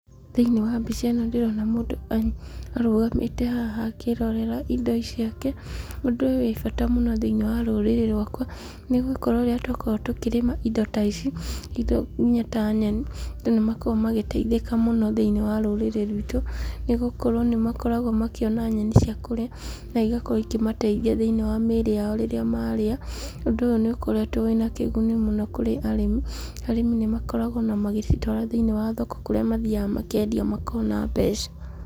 Thĩ-inĩ wa mbica ĩno ndĩrona mũndũ arũgamĩte haha akĩĩrorera indo ciake. Ũndũ ũyũ wĩ bata mũno thĩ-inĩ wa rũrĩrĩ rwakwa. Nĩ gũkorwo rĩrĩa twakorwo tũkĩrĩma indo ta ici, nginya ta nyeni, andũ nĩ makoragwo magĩteithĩka thĩ-inĩ wa rũrĩrĩ rwitũ nĩ gũkorwo nĩ makoragwo makĩona nyeni cia kũrĩa, na ĩgakorwo ikĩmateithia thĩ-inĩ wa mĩrĩ yao rĩrĩa marĩa. Ũndũ ũyũ nĩ ukoretwo wĩna kĩguni mũno kurĩ arĩmi. Arĩmi nĩ makoragwo ona magĩcitwara thĩ-inĩ wa thoko kũrĩa mathiaga makĩendia makona mbeca.